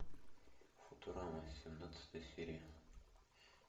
футурама семнадцатая серия